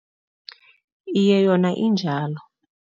Iye, yona injalo.